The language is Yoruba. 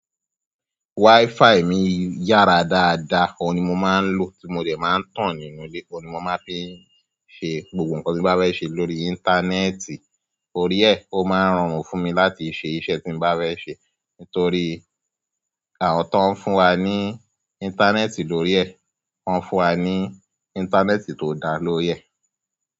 WiFi mi yára dáadáa, òun ni mo máa ń lò tí mo dẹ̀ máa ń tàn nínú ilé, òun ni mo máa ń fi ṣe gbogbo nǹkan tí mo bá fẹ́ ṣe lórí. Íńtánẹ́ẹ̀tì. Orí e, ó máa ń rọrùn fún mi láti ṣe iṣẹ́ tí mo bá fẹ́ ṣe. Nítorí àwọn tó ń fún wa ní íńtánẹ́ẹ̀tì lórí e, wọ́n fún wa ní íńtánẹ́ẹ̀tì tó dáa lórí e.